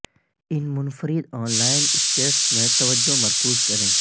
ان منفرد inline skates میں توجہ مرکوز کریں